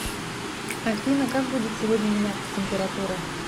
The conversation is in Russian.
афина как будет сегодня меняться температура